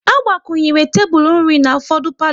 A gbakwunyere tebụl nri na ufọdụ palo